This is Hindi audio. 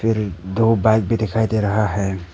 दो बाइक भी दिखाई दे रहा है।